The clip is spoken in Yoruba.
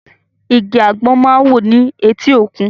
Igi àgbọ̀n máa ń wù ni eti òkun